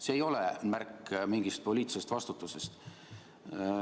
See ei ole märk mingist poliitilisest vastutusest.